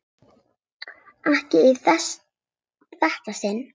Ekki í þetta sinn.